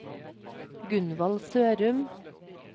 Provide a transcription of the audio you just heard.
Gunvald Sørum